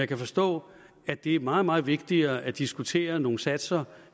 kan forstå at det er meget meget vigtigere at diskutere nogle satser